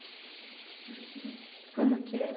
Uhum. Como que era?